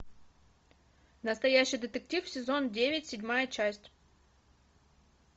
настоящий детектив сезон девять седьмая часть